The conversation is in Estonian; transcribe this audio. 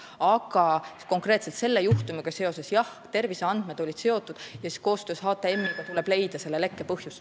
Aga konkreetselt selle juhtumiga seoses: jah, terviseandmed olid sellega seotud ja koostöös HTM-iga tuleb leida selle lekke põhjus.